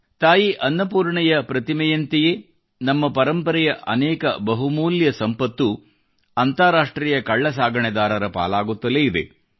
ತಾಯಿ ಅನ್ನಪೂರ್ಣೆ ಪ್ರತಿಮೆಯಂತೆಯೇ ನಮ್ಮ ಪರಂಪರೆಯ ಅನೇಕ ಬಹುಮೂಲ್ಯ ಸಂಪತ್ತು ಅಂತಾರಾಷ್ಟ್ರೀಯ ಕಳ್ಳಸಾಗಣೆದಾರರ ಪಾಲಾಗುತ್ತಲೇ ಇದೆ